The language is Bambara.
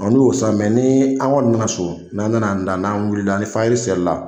Ɔ n'u y'o san mɛ ni an kɔni nana so n'an nana an da wulila ni fayiri selila la